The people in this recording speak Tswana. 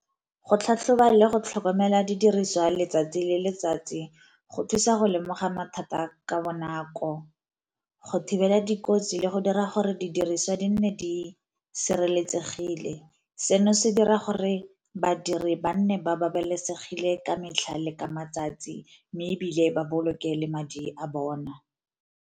Go tlhatlhoba le go tlhokomela didiriswa letsatsi le letsatsi go thusa go lemoga mathata ka bonako, go thibela dikotsi, le go dira gore didiriswa di nne di sireletsegile. Seno se dira gore badiri ba nne ba babalesegile ka metlhale ka matsatsi, mme ebile ba boloke le madi a bona.